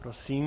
Prosím.